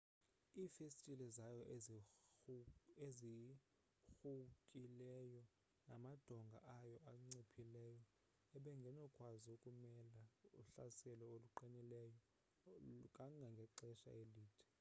iifestile zayo ezirhuwkileyo namadonga ayo anciphileyo ebengenokwazi ukumela uhlaselo oluqinilileyo kangangexesha elide